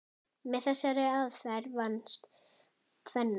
Með þessari aðferð vannst tvennt.